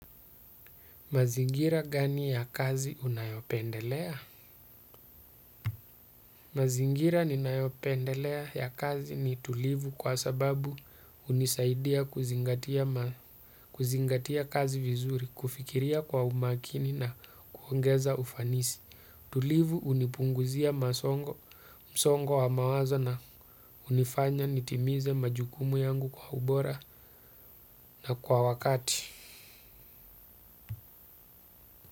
Mazingira gani ya kazi unayopendelea? Mazingira ninaopendelea ya kazi ni tulivu kwa sababu unisaidia kuzingatia kazi vizuri, kufikiria kwa umakini na kuongeza ufanisi. Tulivu unipunguzia msongo wa mawazo na unifanya nitimize majukumu yangu kwa ubora na kwa wakati.